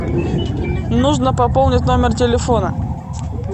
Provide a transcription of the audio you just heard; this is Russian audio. нужно пополнить номер телефона